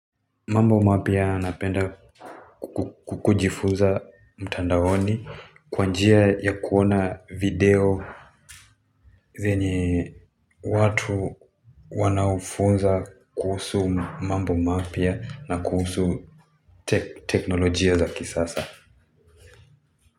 Mambo mapya napenda kukujifuza mtandaoni kwa njia ya kuona video zenye watu wanafunza kuhusu mambo mapya na kuhusu teknolojia za kisasa.